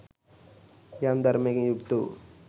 යම් ධර්මයකින් යුක්ත වූ